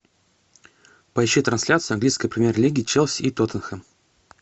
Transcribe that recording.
поищи трансляцию английской премьер лиги челси и тоттенхэм